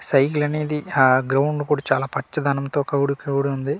Cycle అనేది ఆ ground కూడా చాలా పచ్చదానం తో క్రౌడ్ క్రౌడ్ ఉంది.